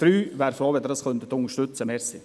Ich wäre froh, wenn Sie dies unterstützen könnten.